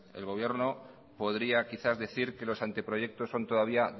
el gobierno podría quizás decir que los anteproyectos son todavía